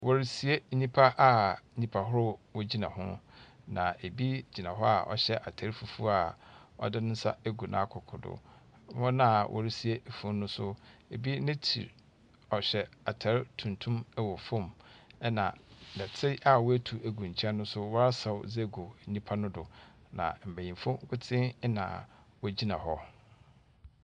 Wɔresie nnipa a nnipa ahoroɔ gyina ho, na obi gyina hɔ a ɔhyɛ atar fufuo a ɔde ne nsa agu ne koko do. Wɔn a wɔresie funu no nso, ebi n'ekyir, ɔhyɛ atar tuntum wɔ fam, ɛnna nnɛteɛ a wɔatu agu nkyɛn no nso wɔasaw dze agu nipa no do, na mbenyimfo nkotsee na wogyina hɔ.